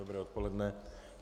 Dobré odpoledne.